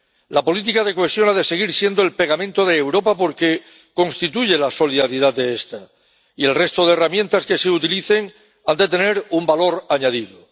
La política de cohesión ha de seguir siendo el pegamento de Europa porque constituye la solidaridad de esta, y el resto de herramientas que se utilicen han de tener un valor añadido.